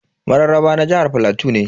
Mararraba na jihar plateau ne.